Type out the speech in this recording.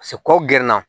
kɔ gɛrɛ na